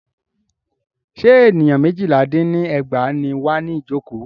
Ṣé ènìyàn méjìlá dín ní ẹgbàá ní wà ní ìjọ̀kọ́?